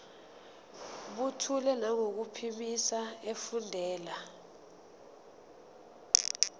buthule nangokuphimisa efundela